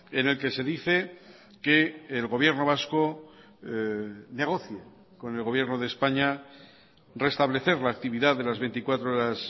en el que se dice que el gobierno vasco negocie con el gobierno de españa reestablecer la actividad de las veinticuatro horas